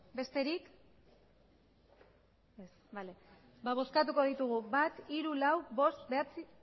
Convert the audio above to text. besterik ez bale ba bozkatuko ditugu bat hiru lau bost bederatzi